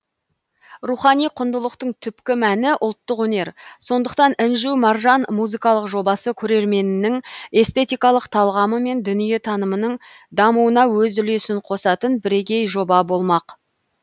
рухани құндылықтың түпкі мәні ұлттық өнер сондықтан інжу маржан музыкалық жобасы көрерменнің эстетикалық талғамы мен дүниетанымының дамуына өз үлесін қосатын бірегей жоба болмақ